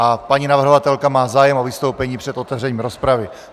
A paní navrhovatelka má zájem o vystoupení před otevřením rozpravy.